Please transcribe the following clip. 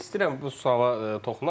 İstəyirəm bu suala toxunaq.